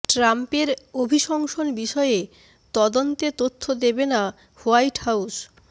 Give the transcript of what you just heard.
ট্রাম্পের অভিশংসন বিষয়ে তদন্তে তথ্য দেবে না হোয়াইট হাউস